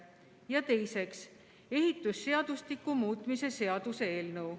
Ja teiseks, ehitusseadustiku muutmise seaduse eelnõu.